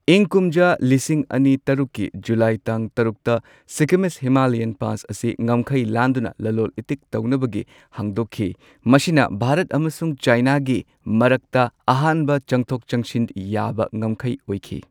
ꯏꯪ ꯀꯨꯝꯖꯥ ꯂꯤꯁꯤꯡ ꯑꯅꯤ ꯇꯔꯨꯛꯀꯤ ꯖꯨꯂꯥꯏ ꯇꯥꯡ ꯇꯔꯨꯛꯇ ꯁꯤꯛꯀꯤꯃꯤꯖ ꯍꯤꯃꯥꯂꯥꯌꯟ ꯄꯥꯁ ꯑꯁꯤ ꯉꯝꯈꯩ ꯂꯥꯟꯗꯨꯅ ꯂꯂꯣꯟ ꯏꯇꯤꯛ ꯇꯧꯅꯕꯒꯤ ꯍꯥꯡꯗꯣꯛꯈꯤ꯫ ꯃꯁꯤꯅ ꯚꯥꯔꯠ ꯑꯃꯁꯨꯡ ꯆꯥꯏꯅꯥꯒꯤ ꯃꯔꯛꯇ ꯑꯍꯥꯟꯕ ꯆꯪꯊꯣꯛ ꯆꯪꯁꯤꯟ ꯌꯥꯕ ꯉꯝꯈꯩ ꯑꯣꯏꯈꯤ꯫